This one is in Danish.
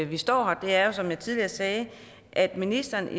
vi står her er som jeg tidligere sagde at ministeren